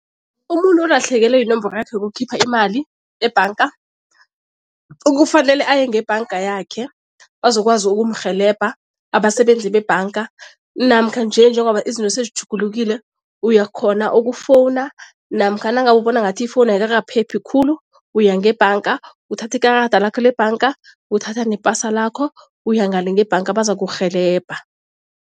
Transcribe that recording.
Umuntu olahlekelwe yinomboro yakhe yokukhipha imali ebhanga, kufanele aye ngebhanga yakhe bazokwazi ukumrhelebha abasebenzi bebhanga namkha nje njengoba izinto sezitjhugulukile uyakghona ukufowuna namkha nangabe ubona ngathi ifowunu ayikakaphephi khulu, uya ngebhanga uthathe ikarada lakho lebhanga uthatha nepasa lakho, uya ngale ngebhanga bazakurhelebha.